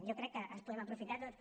jo crec que ens en podem aprofitar tots